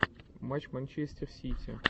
матч манчестер сити